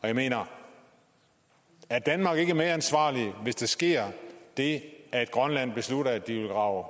jeg mener er danmark ikke medansvarlig hvis der sker det at grønland beslutter at de vil grave